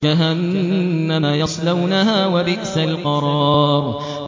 جَهَنَّمَ يَصْلَوْنَهَا ۖ وَبِئْسَ الْقَرَارُ